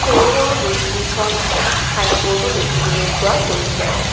সৰু সৰু দুই তিনিখন ছাইনবোৰ্ডো দেখিবলৈ পোৱা গৈছে।